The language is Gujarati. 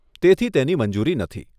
તેથી તેની મંજૂરી નથી.